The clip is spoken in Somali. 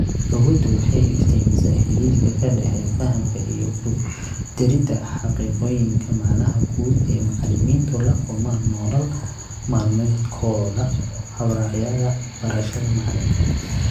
Awooddu waxay iftiimisaa xidhiidhka ka dhexeeya fahamka iyo ku daridda xaqiiqooyinka macnaha guud ee macallimiintu la kulmaan nolol maalmeedkooda habraacyada barashada macallinka.